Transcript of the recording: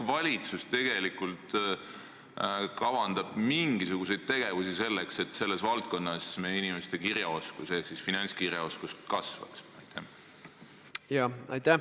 Ja kas valitsus tegelikult kavandab mingisuguseid tegevusi selleks, et selles valdkonnas meie inimeste kirjaoskus ehk siis finantskirjaoskus paraneks?